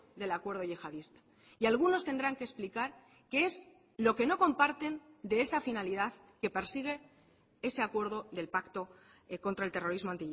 del acuerdo yihadista y algunos tendrán que explicar qué es lo que no comparten de esa finalidad que persigue ese acuerdo del pacto contra el terrorismo